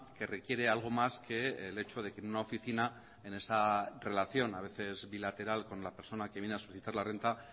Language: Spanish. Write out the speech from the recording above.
que requiere algo más que el hecho de que en una oficina en esa relación a veces bilateral con la persona que viene a solicitar la renta